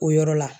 O yɔrɔ la